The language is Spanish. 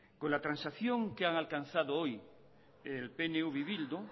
con la transacción que han alcanzado hoy el pnv y bildu